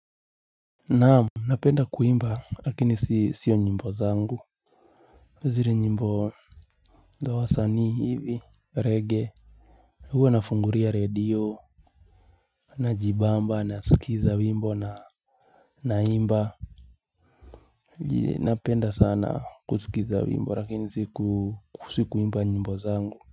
Naam. Napenda kuimba lakini sio nyimbo zangu. Zile nyimbo. Za wasanii hivi. Reggae. Huwa nafungulia radio. Na jibamba na sikiza wimbo na naimba. Napenda sana kusikiza wimbo lakini siku si kuimba nyimbo zangu.